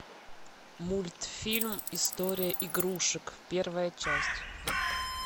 мультфильм история игрушек первая часть